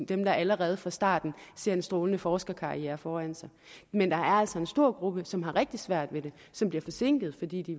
dem der allerede fra starten ser en strålende forskerkarriere foran sig men der er altså en stor gruppe som har rigtig svært ved det som bliver forsinket fordi de